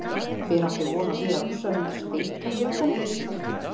Hver átti von á því að Rússar myndu steikja Tékkana?